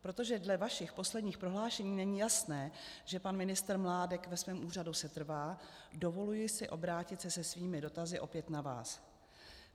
Protože dle vašich posledních prohlášení není jasné, že pan ministr Mládek ve svém úřadu setrvá, dovoluji si obrátit se se svými dotazy opět na vás.